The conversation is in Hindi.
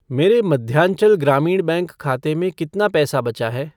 मेरे मध्यांचल ग्रामीण बैंक खाते में कितना पैसा बचा है?